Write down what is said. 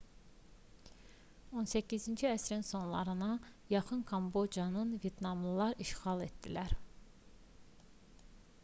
18-ci əsrin sonlarına yaxın kambocanı vyetnamlılar da işğal etdilər